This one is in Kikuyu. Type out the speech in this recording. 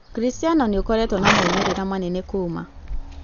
Ũkristiano nĩ ũkoretwo na moimĩrĩro manene kuuma